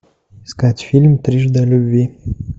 искать фильм трижды о любви